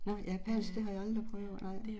Nå, japansk, det har jeg aldrig prøvet nej